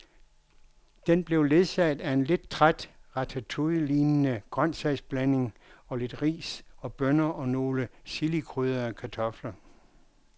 Den blev ledsaget af en lidt træt ratatouillelignende grøntsagsblanding, lidt ris og bønner og nogle chilikrydrede kartofler.